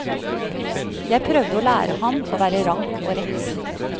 Jeg prøvde å lære ham å være rank og rett.